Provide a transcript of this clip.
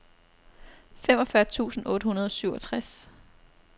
femogfyrre tusind otte hundrede og syvogtres